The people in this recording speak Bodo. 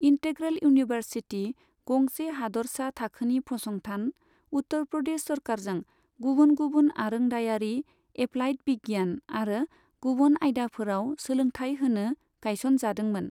इन्टेग्रेल इउनिभार्सिटि, गंसे हादोरसा थाखोनि फसंथान, उत्तर प्रदेश सोरकारजों गबुन गुबुन आरोंदायारि, एप्लाइद बिगियान आरो गबुन आयदाफोराव सोलोंथाय होनो गायसन जादोंमोन।